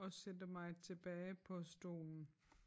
Og sætter mig tilbage på stolen